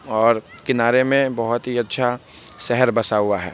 और किनारे मे बोहत ही अच्छा शहर बसा हुआ है।